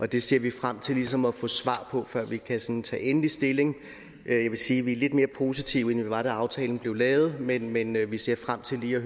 det ser vi frem til ligesom at få svar på før vi kan tage endelig stilling jeg vil sige at vi er lidt mere positive end vi var da aftalen blev lavet men men vi ser frem til lige